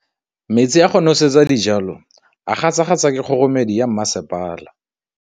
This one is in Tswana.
Metsi a go nosetsa dijalo a gasa gasa ke kgogomedi ya masepala.